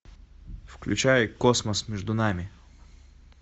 включай космос между нами